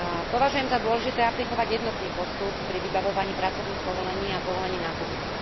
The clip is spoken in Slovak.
Považujem za dôležité aplikovať jednotný postup pri vybavovaní pracovných povolení a povolení na pobyt.